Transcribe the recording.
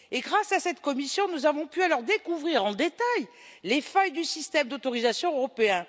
Grâce à cette commission, nous avons pu découvrir en détail les failles du système d'autorisation européen.